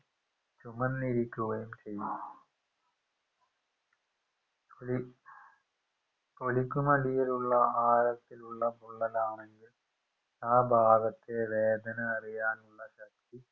ചുമന്നിരിക്കുകയും ചെയ്യും തൊലി തൊലിക്കുമടിയിലുള്ള ആഴത്തിലുള്ള പൊള്ളലാണെങ്കിൽ ആ ഭാഗത്തെ വേദന അറിയാനുള്ള ശക്തി